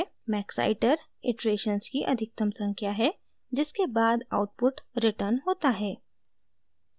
maxiter : iterations की अधिकतम संख्या है जिसके बाद आउटपुट रिटर्न होता है